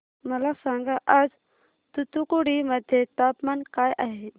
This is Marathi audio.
मला सांगा आज तूतुकुडी मध्ये तापमान काय आहे